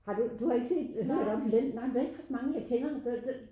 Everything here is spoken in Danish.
Har du du har ikke set eller hørt om den nej vel der er ikke så mange jeg kender der